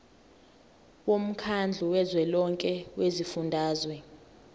womkhandlu kazwelonke wezifundazwe